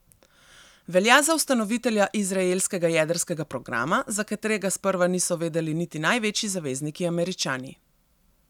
Velja za ustanovitelja izraelskega jedrskega programa, za katerega sprva niso vedeli niti največji zavezniki Američani.